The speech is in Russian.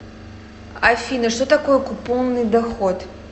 афина что такое купонный доход